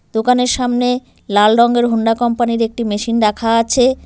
দোকানের সামনে লাল রঙের হোন্ডা কোম্পানি -এর একটি মেশিন রাখা আছে।